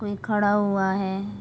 कोई खड़ा हुआ है।